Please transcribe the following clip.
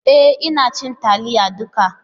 E! Ina cinye taliyar duka.